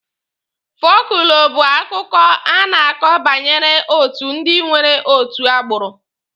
Fọlkụlọ bụ akụkọ a na-akọ banyere otu ndi nwere otu agbụrụ.